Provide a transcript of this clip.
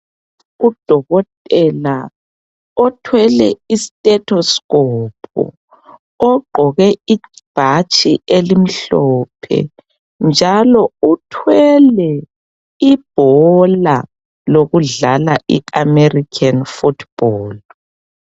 Udokotela othwele itethoskophu, ogqoke ibhatshi elimhlophe njalo uthwele ibhola lokudlala iamerikheni futhubholu.